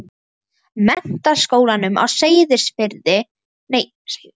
Menntaskólanum á Ísafirði og það áttu að verða átök.